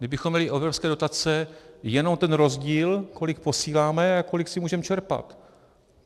Kdybychom měli evropské dotace jenom ten rozdíl, kolik posíláme a kolik si můžeme čerpat.